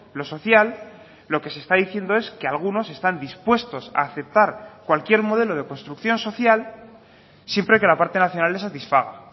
lo social lo que se está diciendo es que algunos están dispuestos a aceptar cualquier modelo de construcción social siempre que la parte nacional le satisfaga